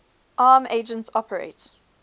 arm agents operate